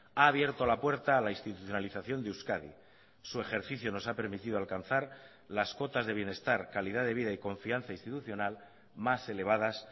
ha abierto la puerta a la institucionalización de euskadi su ejercicio nos ha permitido alcanzar las cotas de bienestar calidad de vida y confianza institucional más elevadas